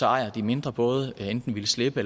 ejer de mindre både enten ville slippe